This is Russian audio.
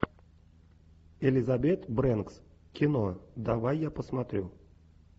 элизабет брэнкс кино давай я посмотрю